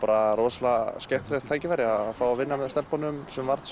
rosalega skemmtilegt tækifæri að fá að vinna með stelpunum sem varð